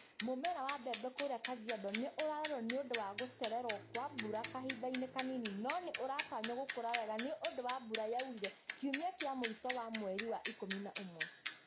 Mũmera wa mbebe kũria Kajiado nĩ ũrarorwo nĩ ũndũ wa gũcererwo kwa mbura kahindainĩ kanini no nĩ uratanywo gũkũra wega nĩ ũndũ wa mbura yaurire kiumia kia mũico wa mweri wa ikumi na ũmwe.